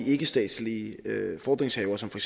ikkestatslige fordringshavere som for